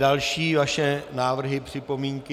Další vaše návrhy, připomínky.